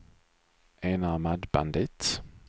enarmad bandit